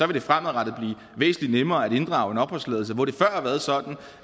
det fremadrettet blive væsentlig nemmere at inddrage din opholdstilladelse hvor det før har været sådan